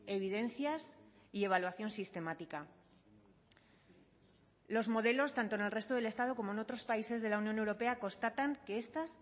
evidencias y evaluación sistemática los modelos tanto en el resto del estado como en otros países de la unión europea constatan que estas